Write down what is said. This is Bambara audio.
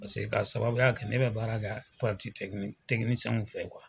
Paseke ka sababuya kɛ ne bɛ baara kɛ fɛ